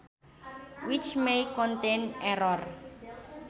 Which may contain errors